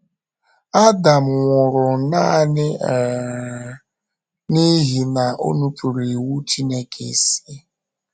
Adam nwụrụ nanị um n’ihi na o nupụụrụ iwu Chineke isi..